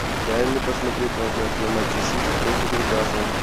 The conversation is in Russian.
дай мне посмотреть трансляцию матча сити против ньюкасл